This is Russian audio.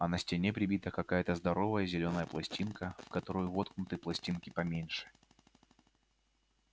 а на стене прибита какая-то здоровая зелёная пластинка в которую воткнуты пластинки поменьше